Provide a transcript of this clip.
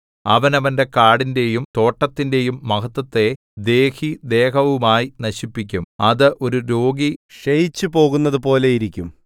അവൻ അവന്റെ കാടിന്റെയും തോട്ടത്തിന്റെയും മഹത്ത്വത്തെ ദേഹിദേഹവുമായി നശിപ്പിക്കും അത് ഒരു രോഗി ക്ഷയിച്ചു പോകുന്നത് പോലെയിരിക്കും